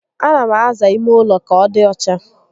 A na m aza ime ụlọ ka ọ dị ọcha